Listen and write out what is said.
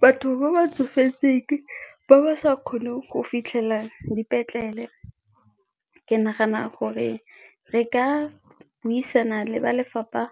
Batho ba ba tsofetseng ba ba sa kgoneng go fitlhelela dipetlele ke nagana gore re ka buisana le ba lefapha